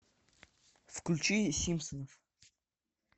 включи симпсонов